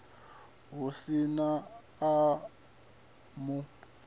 hu si na a mu